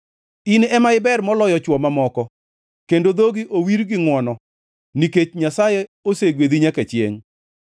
In ema iber moloyo chwo mamoko kendo dhogi owir gi ngʼwono, nikech Nyasaye osegwedhi nyaka chiengʼ.